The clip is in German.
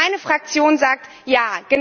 Meine Fraktion sagt Ja!